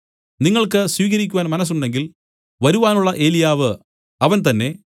നിങ്ങൾക്ക് സ്വീകരിക്കുവാൻ മനസ്സുണ്ടെങ്കിൽ വരുവാനുള്ള ഏലിയാവ് അവൻ തന്നേ